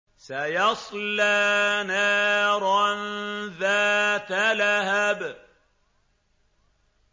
سَيَصْلَىٰ نَارًا ذَاتَ لَهَبٍ